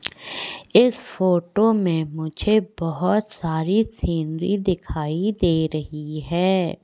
इस फोटो में मुझे बहुत सारी सीनरी दिखाई दे रही है।